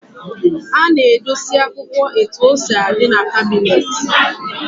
A na-edosi akwụkwọ etu o si adị n'kabịnetị.